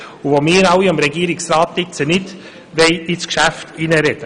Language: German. Wir alle sollten deshalb hier dem Regierungsrat nicht ins Geschäft hineinreden.